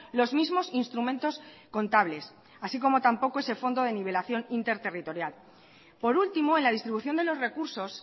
los mismos instrumentos contables así como tampoco ese fondo de nivelación interterritorial por último en la distribución de los recursos